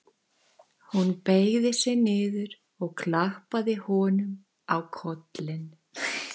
Hún beygði sig niður og klappaði honum á kollinn.